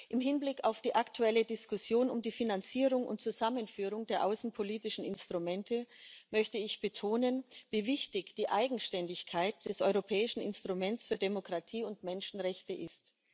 Im Hinblick auf die aktuelle Diskussion um die Finanzierung und Zusammenführung der außenpolitischen Instrumente möchte ich betonen, wie wichtig die Eigenständigkeit des Europäischen Instruments für Demokratie und Menschenrechte ist.